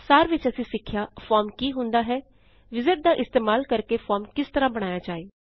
ਸਾਰ ਵਿੱਚ ਅਸੀਂ ਸਿਖਿਆ ਫੋਰਮ ਕੀ ਹੁੰਦਾ ਹੈ ਵਿਜ਼ਾਰਡ ਦਾ ਇਸਤੇਮਾਲ ਕਰਕੇ ਫੋਰਮ ਕਿਸ ਤਰਹ ਬਣਾਇਆ ਜਾਏ